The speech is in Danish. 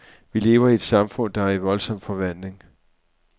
Vi lever i et samfund, der er i voldsom forvandling.